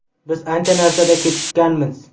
Biz ancha narsada kechikkanmiz.